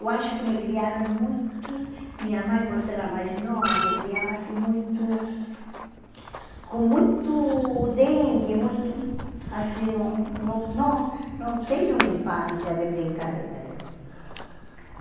Eu acho que me criaram muito... Minha mãe, por ser a mais nova, me criava assim muito... Com muito dengue, muito... Assim, não não não não tenho uma infância de brincadeira, eu.